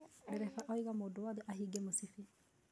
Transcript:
Ndereba oiga mũndũ wothe ahinge mũcibi